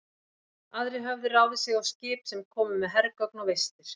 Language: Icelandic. Aðrir höfðu ráðið sig á skip, sem komu með hergögn og vistir.